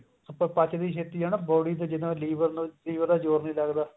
ਪਚਦੀ ਛੇਤੀ ਹੈ ਨਾ body ਤੇ ਜਿਦਾਂ liver ਨੂੰ liver ਦਾ ਜੋਰ ਨੀ ਲੱਗਦਾ